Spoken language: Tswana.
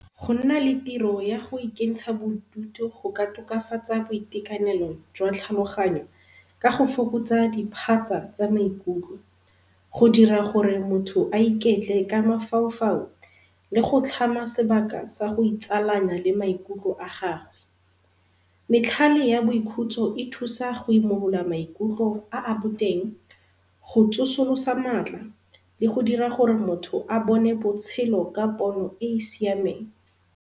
Go nna le tiro ya go ikentsha bodutu go ka tokafatsa boitekanelo jwa tlhaloganyo ka go fokotsa diphatsa tsa maikutlo. Go dira gore motho a iketle ka mafaufau le go tlhama sebaka sa go itsalanya le maikutlo a gagwe. Metlhale ya boikhutso e thusa go imolola maikutlo a a boteng, go tsosolosa matla le go dira gore motho a bone botshelo ka pono e e siameng.